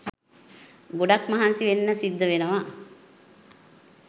ගොඩක් මහන්සි වෙන්න සිද්ද වෙනව.